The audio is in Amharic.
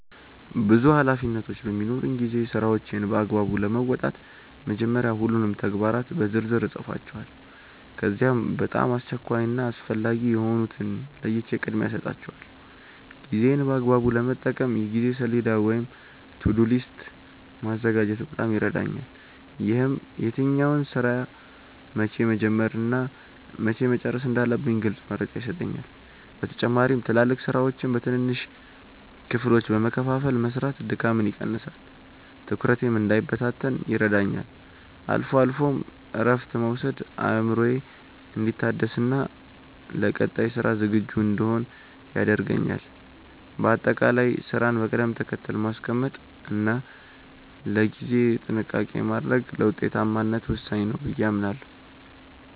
ብዙ ኃላፊነቶች በሚኖሩኝ ጊዜ ስራዎቼን በአግባቡ ለመወጣት መጀመሪያ ሁሉንም ተግባራት በዝርዝር እጽፋቸዋለሁ። ከዚያም በጣም አስቸኳይ እና አስፈላጊ የሆኑትን ለይቼ ቅድሚያ እሰጣቸዋለሁ። ጊዜዬን በአግባቡ ለመጠቀም የጊዜ ሰሌዳ ወይም "To-do list" ማዘጋጀት በጣም ይረዳኛል። ይህም የትኛውን ስራ መቼ መጀመር እና መቼ መጨረስ እንዳለብኝ ግልጽ መረጃ ይሰጠኛል። በተጨማሪም ትላልቅ ስራዎችን በትንንሽ ክፍሎች በመከፋፈል መስራት ድካምን ይቀንሳል፤ ትኩረቴም እንዳይበታተን ይረዳኛል። አልፎ አልፎም እረፍት መውሰድ አእምሮዬ እንዲታደስና ለቀጣይ ስራ ዝግጁ እንድሆን ያደርገኛል። በአጠቃላይ ስራን በቅደም ተከተል ማስቀመጥ እና ለጊዜ ጥንቃቄ ማድረግ ለውጤታማነት ወሳኝ ነው ብዬ አምናለሁ።